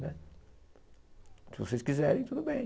Se vocês quiserem, tudo bem.